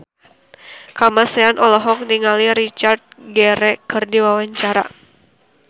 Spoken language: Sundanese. Kamasean olohok ningali Richard Gere keur diwawancara